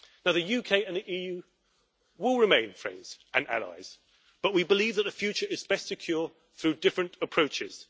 The UK and the EU will remain friends and allies, but we believe that the future is best secured through different approaches.